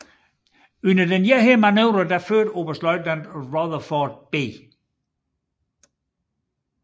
Under denne manøvre førte oberstløjtnant Rutherford B